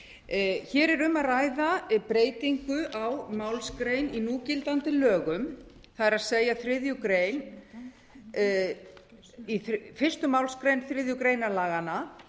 hér er um að ræða breytingu á málsgrein í núgildandi lögum það er fyrsta málsgrein þriðju grein laganna